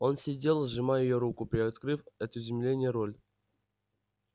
он сидел сжимая её руку приоткрыв от изумления рот